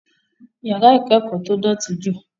Yàrá ìkẹ́kọ̀ọ́ tó dọ̀tí ju.